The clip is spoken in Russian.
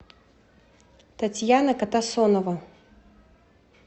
татьяна катасонова